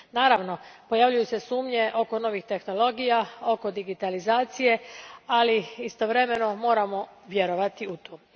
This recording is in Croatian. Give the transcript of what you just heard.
Naravno, pojavljuju se sumnje oko novih tehnologija, oko digitalizacije, ali istovremeno moramo vjerovati u to.